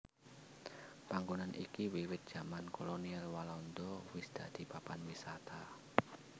Panggonan iki wiwit jaman kolonial Walanda wis dadi papan wisata